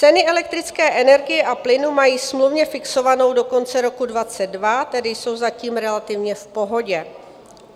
Cenu elektrické energie a plynu mají smluvně fixovanou do konce roku 2022, tedy jsou zatím relativně v pohodě.